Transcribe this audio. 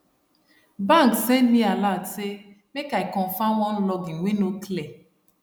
bank send me alert say make i confirm one login wey no clear